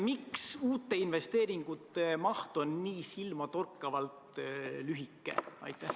Miks uute investeeringute loetelu on nii silmatorkavalt lühike?